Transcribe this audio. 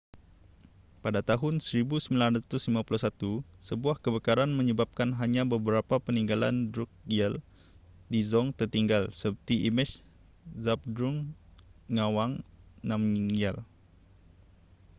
pada tahun 1951 sebuah kebakaran menyebabkan hanya beberapa peninggalan drukgyal dzong tertinggal seperti imej zhabdrung ngawang namgyal